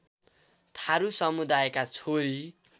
थारु समुदायका छोरी